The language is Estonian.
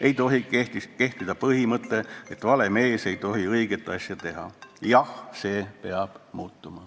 Ei tohi kehtida põhimõte, et vale mees ei tohi õiget asja teha.